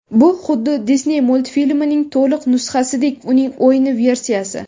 Bu xuddi Disney multfilmining to‘liq nusxasidek uning o‘yin versiyasi.